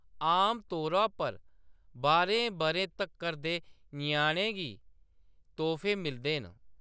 आमतौरा पर, बारें बʼरें तक्कर दे ञ्याणें गी तोह्‌‌फे मिलदे न।